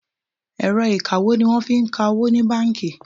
Ẹ̀rọ ìkawó ní wọ́n fí ń ka owó ní bánkì.